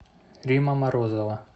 римма морозова